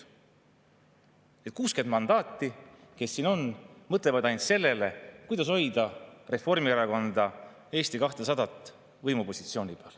Ja 60 mandaati, kes siin on, mõtlevad ainult sellele, kuidas hoida Reformierakonda ja Eesti 200 võimupositsioonil.